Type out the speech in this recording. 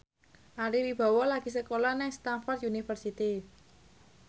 Ari Wibowo lagi sekolah nang Stamford University